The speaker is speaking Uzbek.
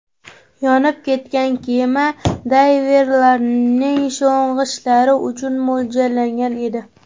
Yonib ketgan kema dayverlarning sho‘ng‘ishlari uchun mo‘ljallangan edi.